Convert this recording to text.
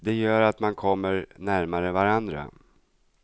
Det gör att man kommer närmare varandra.